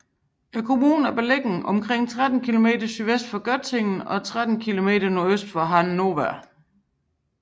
Kommunen er beliggende omkring 13 km sydvest for Göttingen og 13 km nordøst for Hann